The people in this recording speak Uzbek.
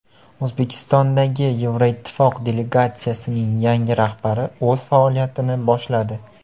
O‘zbekistondagi Yevroittifoq delegatsiyasining yangi rahbari o‘z faoliyatini boshladi.